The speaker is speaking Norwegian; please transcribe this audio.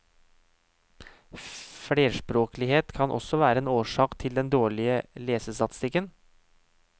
Flerspråklighet kan også være en årsak til den dårlige lesestatistikken.